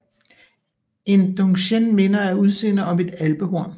En Dung chen minder af udseende om et Alpehorn